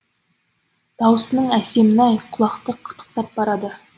даусының әсемін ай құлақты қытықтап барады